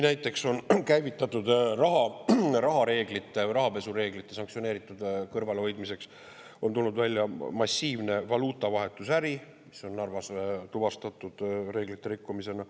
Näiteks on välja tulnud, et rahareeglitega või rahapesu reeglitega seotud kõrvalehoidmiseks on käivitatud massiivne valuutavahetusäri, mis on Narvas tuvastatud reeglite rikkumisena.